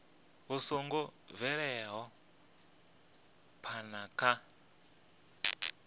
vhu songo bvelaho phana kha